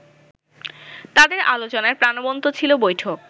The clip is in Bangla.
তাদের আলোচনায় প্রাণবন্ত ছিল বৈঠক